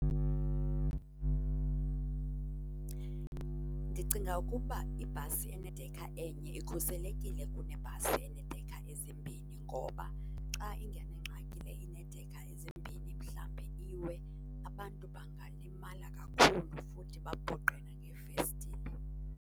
Ndicinga ukuba ibhasi enedekha enye ikhuselekile kunebhasi eneedekha ezimbhini ngoba xa ingena engxakini le ineedekha ezimbini, mhlambi iwe, abantu bangalimala kakhulu futhi bapoqe nangeefestile.